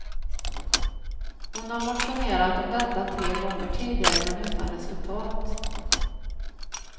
Hon har motionerat om detta tre gånger tidigare men utan resultat.